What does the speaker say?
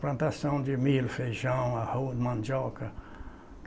Plantação de milho, feijão, arroz, mandioca.